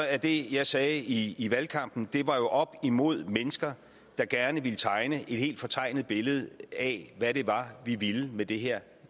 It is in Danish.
at det jeg sagde i i valgkampen var oppe imod mennesker der gerne ville tegne et helt fortegnet billede af hvad det var vi ville med det her